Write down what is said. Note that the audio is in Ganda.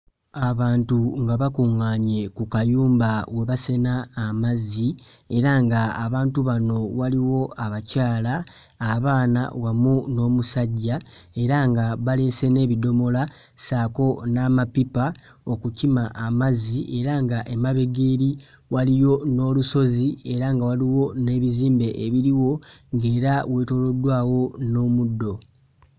Abantu nga bakuŋŋaanye ku kayumba we basena amazzi era nga abantu bano waliwo abakyala, abaana wamu n'omusajja era nga baleese n'ebidomola ssaako n'amapipa okukima amazzi era nga emabega eri waliyo n'olusozi era nga waliwo n'ebizimbe ebiriwo ng'era weetooloddwawo n'omuddo.